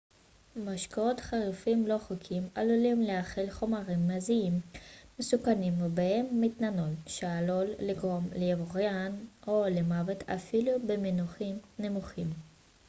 משקאות חריפים לא חוקיים עלולים להכיל חומרים מזהמים מסוכנים ובהם מתנול שעלול לגרום לעיוורון או למוות אפילו במינונים נמוכים